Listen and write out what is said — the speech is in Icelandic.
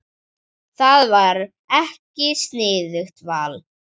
Það var ekki sniðugt val.